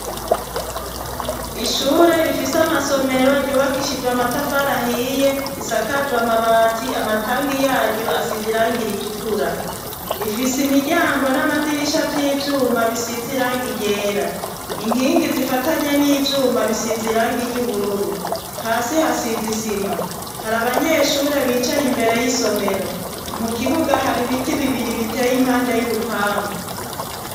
Ishure rifise amasomero ryubakishijwe amatafari ahiye isakajwe amabati amatangi yaryo asize irangi ritukura, rifise imiryango n'amadirisha vy'ivyuma bisize irangi ryera, inkingi zifatanye n'ivyuma bisize irangi iry'ubururu, hasi hasize isima hari abanyeshure bicaye imbere y'isomero, mu kibuga hari ibiti bibiri biteye impande y'urupangu.